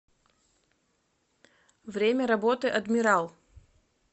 время работы адмирал